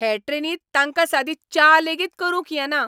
हे ट्रेनींत तांकां सादी च्या लेगीत करूंक येना!